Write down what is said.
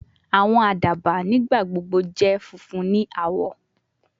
Awọn adaba nigbagbogbo jẹ funfun ni awọ